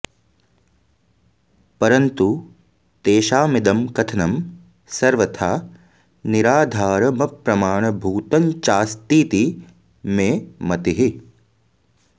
परन्तु तेषामिदं कथनं सर्वथा निराधारम प्रमाणभूतञ्चास्तीति मे मतिः